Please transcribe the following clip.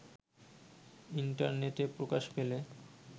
ইন্টারনেটে প্রকাশ পেলে